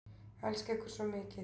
Elska ykkur svo mikið